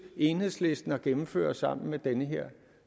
enhedslisten at gennemføre sammen med den her